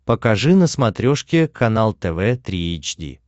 покажи на смотрешке канал тв три эйч ди